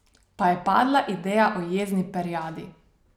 Pa je padla ideja o jezni perjadi.